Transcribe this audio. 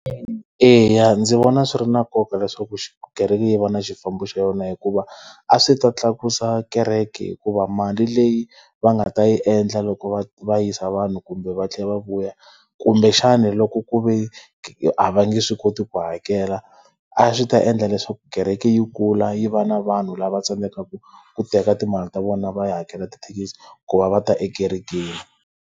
Eya, ndzi vona swi ri na nkoka leswaku kereke yi va na xifambo xa yona hikuva, a swi ta tlakusa kereke hikuva mali leyi va nga ta yi endla loko va va yisa vanhu kumbe va tlhela va vuya, kumbexana loko ku ve a va nge swi koti ku hakela, a swi ta endla leswaku kereke yi kula yi va na vanhu lava tsandzekaka ku teka timali ta vona va ya hakela tithekisi ku va va ta ekerekeni.